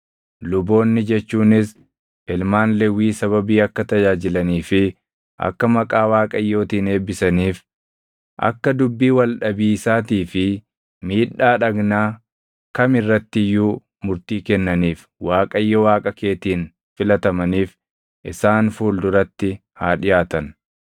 Luboonni jechuunis ilmaan Lewwii sababii akka tajaajilanii fi akka maqaa Waaqayyootiin eebbisaniif, akka dubbii wal dhabiisaatii fi miidhaa dhagnaa kami irratti iyyuu murtii kennaniif Waaqayyo Waaqa keetiin filatamaniif isaan fuulduraatti haa dhiʼaatan.